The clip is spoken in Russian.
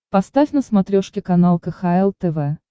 поставь на смотрешке канал кхл тв